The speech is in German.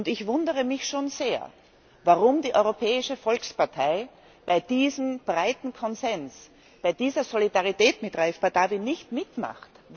Ich wundere mich schon sehr, warum die Europäische Volkspartei bei diesem breiten Konsens, bei dieser Solidarität mit Raif Badawi, nicht mitmacht.